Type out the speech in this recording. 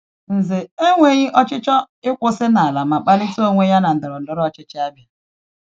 Ǹzè enweghị ọchịchọ ịkwụsị n’ala ma kpalite onwe ya n’ihe ndọrọndọrọ ọchịchị Ȧbịa.